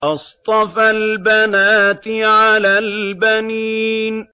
أَصْطَفَى الْبَنَاتِ عَلَى الْبَنِينَ